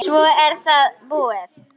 Svo er það búið.